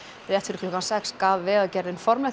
rétt fyrir klukkan sex gaf Vegagerðin formlegt